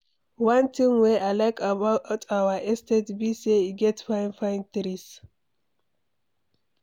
One thing wey I like about our estate be say e get fine fine trees